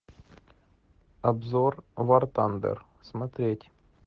обзор вартандер смотреть